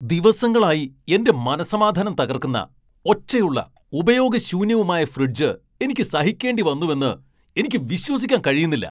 ദിവസങ്ങളായി എന്റെ മനസ്സമാധാനം തകർക്കുന്ന, ഒച്ചയുള്ള, ഉപയോഗശൂന്യവുമായ ഫ്രിഡ്ജ് എനിക്ക് സഹിക്കേണ്ടിവന്നുവെന്ന് എനിക്ക് വിശ്വസിക്കാൻ കഴിയുന്നില്ല!